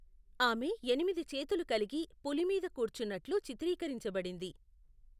ఆమె ఎనిమిది చేతులు కలిగి, పులి మీద కూర్చున్నట్లు చిత్రీకరించబడింది.